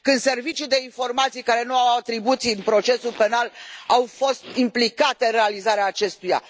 Când serviciul de informații, care nu are atribuții în procesul penal, a fost implicat în realizarea acestuia?